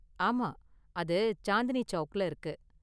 ஆமா, அது சாந்தினி சௌக்ல இருக்கு.